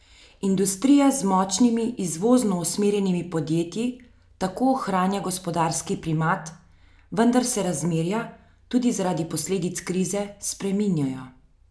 Industrija z močnimi izvozno usmerjenimi podjetji tako ohranja gospodarski primat, vendar se razmerja, tudi zaradi posledic krize, spreminjajo.